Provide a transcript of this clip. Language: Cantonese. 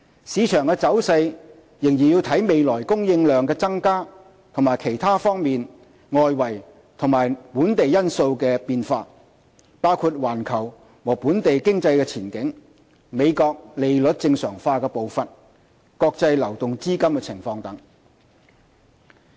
市場走勢仍視乎未來供應量增加及其他多方面外圍和本地因素的變化，包括環球和本地經濟前景、美國利率正常化的步伐、國際流動資金情況等。